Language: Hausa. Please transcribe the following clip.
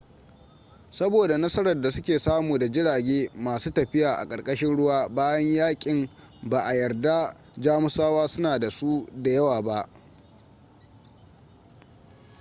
saboda nasarar da suke samu da jirage masu tafiya a ƙarƙashin ruwa bayan yakin ba a yarda jamusawa suna da su da yawa ba